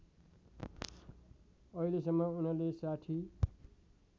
अहिलेसम्म उनले ६०